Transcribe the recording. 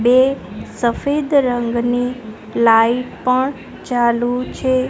બે સફેદ રંગની લાઈટ પણ ચાલુ છે.